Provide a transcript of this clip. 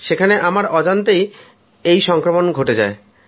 সেখানে আমার অজান্তেই এই সংক্রমণ ঘটে যায়